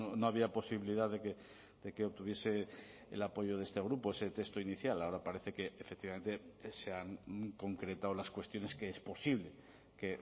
no había posibilidad de que obtuviese el apoyo de este grupo ese texto inicial ahora parece que efectivamente se han concretado las cuestiones que es posible que